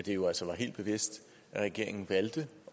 jo altså var helt bevidst at regeringen valgte